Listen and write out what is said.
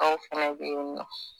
Anw fɛnɛ be yen nɔn